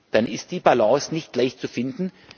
dann ist die Balance nicht leicht zu finden.